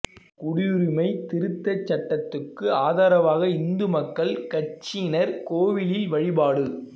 குடியுரிமை திருத்தச் சட்டத்துக்கு ஆதரவாக இந்து மக்கள் கட்சியினா் கோயிலில் வழிபாடு